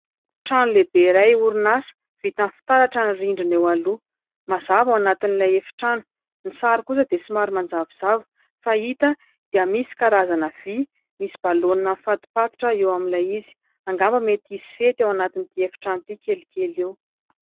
Trano lehibe iray orinasa, vita amin'ny'ny fitaratra ny rindrina eo aloha ; mazava ao anatin'ilay efi-trano ; ny sary kosa dia somary manjavozavo fa ny hita dia misy karazana vy misy balonina nifatopatotra eo amin'ilay izy ; angamba mety hisy fety ao anatin'ity efi-trano ity kelikely eo.